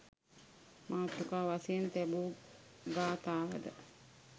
මාතෘකා වශයෙන් තැබූ ගාථාව ද